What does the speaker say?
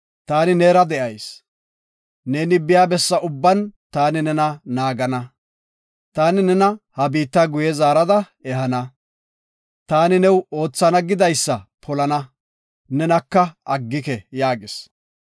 Taani neera de7ayis. Neeni biya bessa ubban taani nena naagana. Taani nena ha biitta guye zaarada ehana. Taani new oothana gidaysa polana, nena aggike” yaagis.